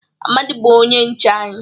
Amadi bu onye nche anyi.